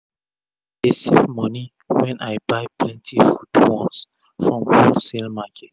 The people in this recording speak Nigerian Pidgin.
i dey save moni wen i buy plenti food once from wholesale market